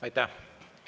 Aitäh!